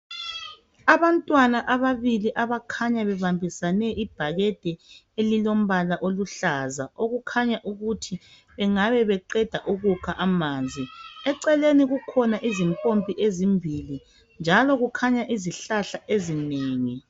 Abantwana ababili abakhanya bebambisane ibhakede elilombala oluhlaza okukhanya ukuthi bengabe beqeda ukukha amanzi eceleni kukhona izimpompi ezimbili njalo kukhanya izihlahla ezinengi